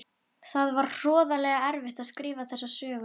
Það var hroðalega erfitt að skrifa þessa sögu.